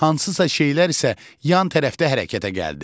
Hansısa şeylər isə yan tərəfdə hərəkətə gəldi.